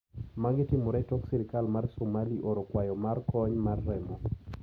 Magitimore tok sirkal ma Somali oro kwayo mar kony mar remo.